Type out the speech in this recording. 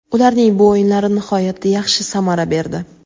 Ularning bu o‘yinlari nihoyatda yaxshi samara berdi.